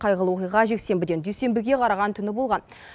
қайғылы оқиға жексенбіден дүйсенбіге қараған түні болған